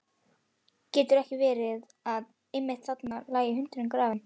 Gat ekki verið að einmitt þarna lægi hundurinn grafinn?